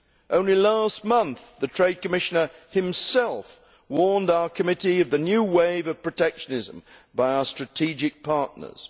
Only last month the trade commissioner himself warned our committee of the new wave of protectionism by our strategic partners.